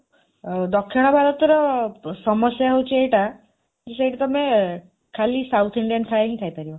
ଦକ୍ଷିଣ ଭାରତର ସମସ୍ୟା ହେଉଛି ଏଇଟା, ଯେ ସେଇଠି ତମେ ଖାଲି south Indian ଖାଇବା ହିଁ ଖାଇପାରିବ।